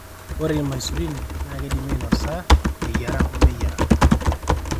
ore imaisurun naa keidimi ainosa eyiara omeyiara